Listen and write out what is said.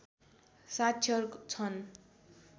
साक्षर छन्